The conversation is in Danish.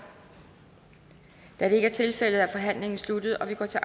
da det ikke er tilfældet er forhandlingen sluttet og vi går til